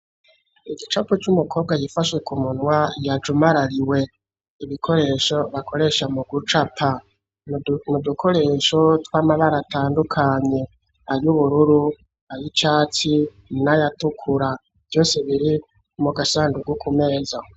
Igicapo c'umukobwa yifashwe ku munwa yajumarariwe. ibikoresho bakoresha mu gucapa. Ni udukoresho tw'amabara atandukanye: ay'ubururu ay'icatsi n'ayatukura vyose biri mu gasandugu ku meza.